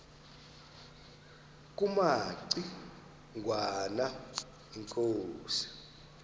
kumaci ngwana inkosi